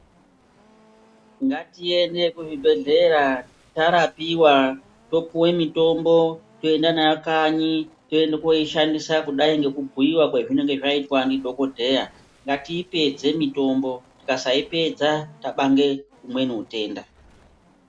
Ngatiende kuzvibhedhlera tarapiwa topiwe mitombo, toenda nayo kanyi toenda koishandisa kudai ngekubhuiwa kwezvinenge zvaitwa ndidhokodheya . Ndatiipedze mitombo, tikasaipedza tabange umweni utenda.